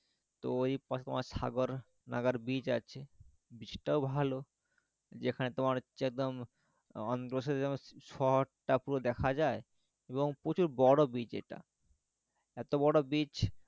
তো ওই পাশে তোমার সাগর নাগার beach আছে beach টাও ভালো যেখানে তোমার হচ্ছে একদম বসে বসে যেন শহরটা পুরো দেখা যায় এবং প্রচুর বড়ো beach এটা এতো বড়ো beach